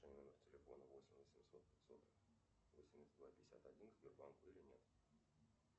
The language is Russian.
номер телефона восемь восемьсот пятьсот восемьдесят два пятьдесят один к сбербанку или нет